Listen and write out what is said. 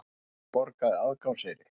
Valdimar borgaði aðgangseyri.